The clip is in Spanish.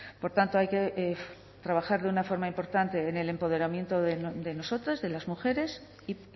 por tanto hay que trabajar de una forma importante en el empoderamiento de nosotras de las mujeres y